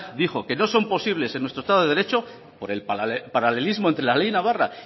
dijo que no son posibles en nuestro estado de derecho por el paralelismo entre la ley navarra